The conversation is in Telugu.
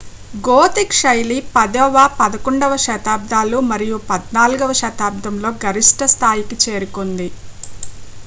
gothic శైలి 10వ - 11వ శతాబ్దాలు మరియు 14 వ శతాబ్దంలో గరిష్ట స్థాయికి చేరుకుంది